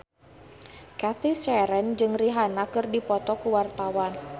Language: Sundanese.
Cathy Sharon jeung Rihanna keur dipoto ku wartawan